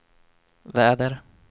väder